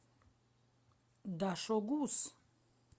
дашогуз